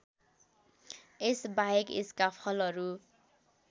यसबाहेक यसका फलहरू